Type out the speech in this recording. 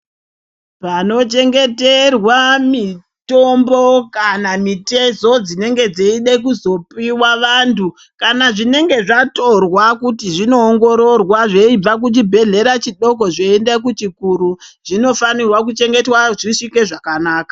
Panochengeterwa mitombo kana mitezo dzinenge dzeide kuzopiwa vantu kana zvinenge zvatorwa zveibve kuchibhehlera chidoko zveienda kuchikuru zvinofanirwa kuchengetwa zvisvike zvakanaka.